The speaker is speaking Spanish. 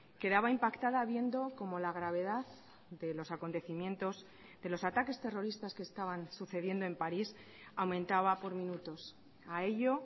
quedaba impactada viendo cómo la gravedad de los acontecimientos de los ataques terroristas que estaban sucediendo en paris aumentaba por minutos a ello